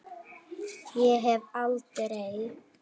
Ég hef aldrei.